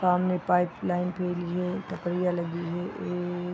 सामने pipeline के लिए टपरियाँ लगी है ए --